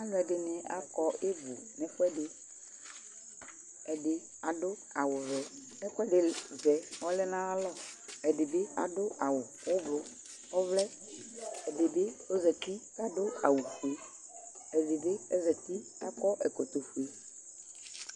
Alʋɛɖini akɔ ibʋʋ n'ɛfuɛɖi Ɛɖi aɖʋ awuvɛ, ɛkʋɛɖi vɛ ɔlɛnayalɔ ɛɖibi aɖʋ awu ɔblɔ k'ɔvlɛ, ɛdibi ozeti k'aɖʋ awu fue, ɛɖibi ɔzati k'akɔ ɛkɔtɔfue